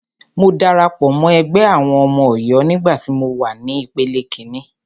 Mo darapọ̀ mọ́ ẹgbẹ́ àwọn ọmọ Ọ̀yọ́ nígbà tí mọ wà ní ìpele kíní.